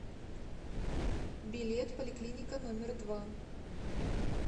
билет поликлиника номер два